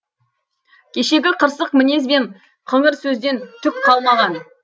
кешегі қырсық мінез бен қыңыр сөзден түк қалмаған